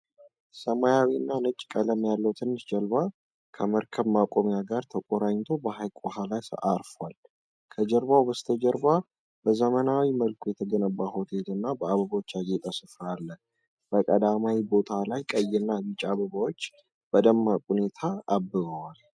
ሰማያዊ እና ነጭ ቀለም ያለው ትንሽ ጀልባ ከመርከብ ማቆሚያ ጋር ተቆራኝቶ በሐይቅ ውሃ ላይ አርፏል። ከጀልባው በስተጀርባ በዘመናዊ መልኩ የተገነባ ሆቴል እና በአበቦች ያጌጠ ስፍራ አለ። በቀዳማይ ቦታ ላይ ቀይና ቢጫ አበባዎች በደማቅ ሁኔታ አብበዋል።